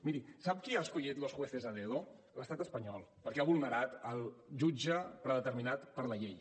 miri sap qui ha escollit los jueces a dedo l’estat espanyol perquè ha vulnerat el jutge predeterminat per la llei